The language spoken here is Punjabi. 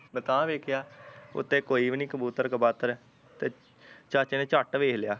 ਮੈਂ ਤਾਅ ਵੇਖਿਆ, ਉੱਤੇ ਕੋਈ ਵੀ ਨੀ ਕਬੂਤਰ ਕਬਾਤਰ ਤੇ ਚਾਚੇ ਨੇ ਝੱਟ ਵੇਖ ਲਿਆ